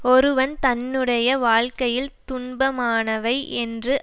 ஒருவன் தன்னுடைய வாழ்க்கையில் துன்பமானவை என்று